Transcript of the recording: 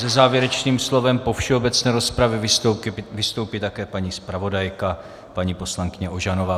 Se závěrečným slovem po všeobecné rozpravě vystoupí také paní zpravodajka, paní poslankyně Ožanová.